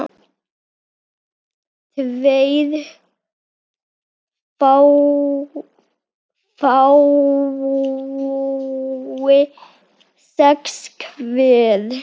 tveir fái sex hver